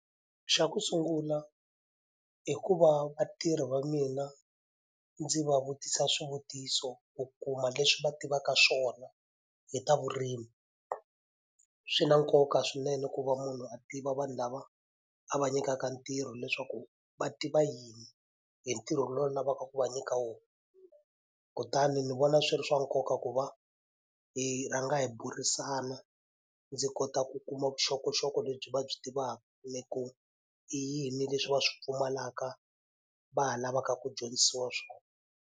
Xa ku sungula i ku va vatirhi va mina ndzi va vutisa swivutiso u kuma leswi va tivaka swona hi ta vurimi, swi na nkoka swinene ku va munhu a tiva vanhu lava a va nyikaka ntirho leswaku va tiva yini hi ntirho lowu lavaka ku va nyika wona. Kutani ndzi vona swi ri swa nkoka ku va hi rhanga hi burisana ndzi kota ku kuma vuxokoxoko lebyi va byi tivaka ni ku i yini leswi va swi pfumalaka va lavaka ku dyondzisiwa swona.